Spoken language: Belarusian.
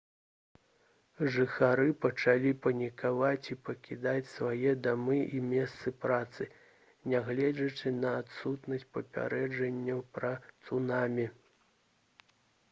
жыхары пачалі панікаваць і пакідаць свае дамы і месцы працы нягледзячы на адсутнасць папярэджанняў пра цунамі